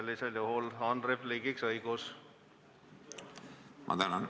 Sellisel juhul on repliigiks õigus!